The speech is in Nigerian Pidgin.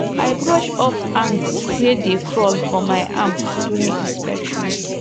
i brush off ants wey dey crawl for my arm during inspection